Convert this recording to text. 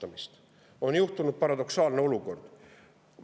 On paradoksaalne olukord.